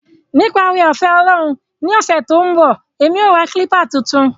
Nipa oore-ofe Olorun ni ose to n bo, emi o ra kilpa tuntun.